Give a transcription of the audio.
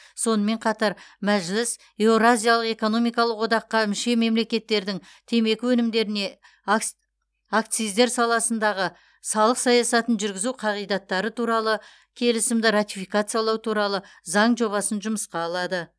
сонымен қатар мәжіліс еуразиялық экономикалық одаққа мүше мемлекеттердің темекі өнімдеріне ак акциздер саласындағы салық саясатын жүргізу қағидаттары туралы келісімді ратификациялау туралы заң жобасын жұмысқа алады